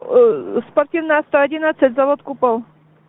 спортивная сто одиннадцать завод купол